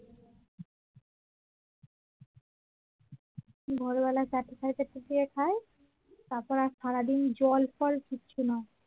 ভোরবেলার চারটে সাড়ে চারটার দিকে খায় তারপর আর সারাদিন জল ফল কিছু না